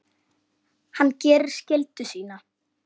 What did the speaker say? Hann gerir skyldu sína.